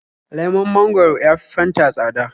Lemon mangwaro ya fi Fanta tsada.